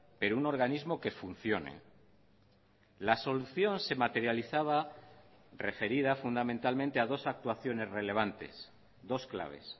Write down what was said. pero un organismo que funcione la solución se materializaba referida fundamentalmente a dos actuaciones relevantes dos claves